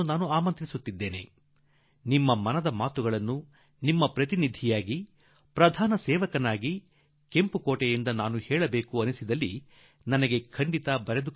ನಿಮ್ಮ ಮನಸ್ಸಿನಲ್ಲಿ ಏನು ವಿಚಾರಗಳು ಬರುತ್ತವೆ ಅವನ್ನು ನಿಮ್ಮ ಪ್ರತಿನಿಧಿಯಾಗಿ ನಿಮ್ಮ ಪ್ರಧಾನ ಸೇವಕನಾಗಿ ನನಗೆ ಕೆಂಪುಕೋಟೆಯಿಂದ ತಿಳಿಸಬೇಕೆಂದಾದರೆ ನೀವು ಖಂಡಿತಾ ನನಗೆ ಬರೆದು ಕಳುಹಿಸಿ